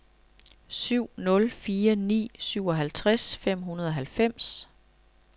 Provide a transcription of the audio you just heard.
syv nul fire ni syvoghalvtreds fem hundrede og halvfems